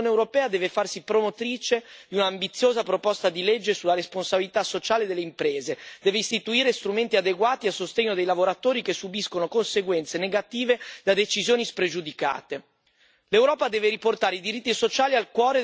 Le soluzioni non possono essere meramente nazionali, l'Unione europea deve farsi promotrice di un'ambiziosa proposta di legge sulla responsabilità sociale delle imprese, deve istituire strumenti adeguati a sostegno dei lavoratori che subiscono conseguenze negative da decisioni spregiudicate.